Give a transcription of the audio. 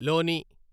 లోని